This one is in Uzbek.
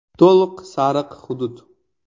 To‘liq “sariq” hudud.